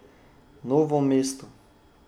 Novo mesto.